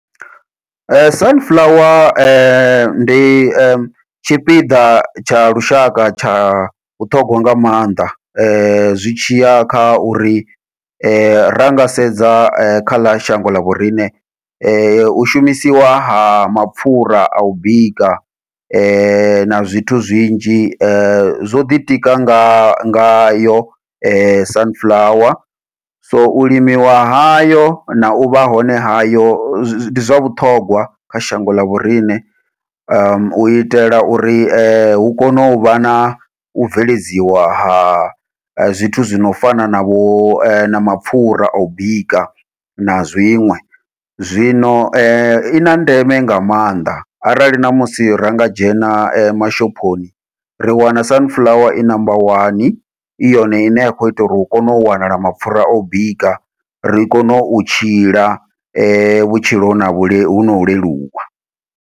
Sunflower ndi tshipiḓa tsha lushaka tsha vhuṱhogwa nga maanḓa, zwi tshiya kha uri ranga sedza kha ḽa shango ḽa vhoriṋe u shumisiwa ha mapfhura au bika na zwithu zwinzhi, zwo ḓitika nga ngayo sunflower, so u limiwa hayo nau vha hone hayo ndi zwa vhuṱhongwa kha shango ḽa vhoriṋe. U itela uri hu kone uvha nau bveledziwa ha zwithu zwi no fana na vho na mapfhura au bika na zwiṅwe, zwino ina ndeme nga maanḓa arali ṋamusi ranga dzhena mashophoni ri wana sunflower i number one, i yone ine ya kho ita uri hu kone u wanala mapfhura o bika ri kone u tshila vhutshilo vhu vhuno leluwa.